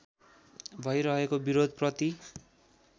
भै रहेको विरोधप्रति